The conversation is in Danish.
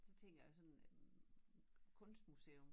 Så tænker jeg sådan øh kunstmuseum